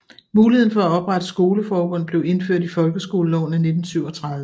Muligheden for at oprette skoleforbund blev indført i folkeskoleloven af 1937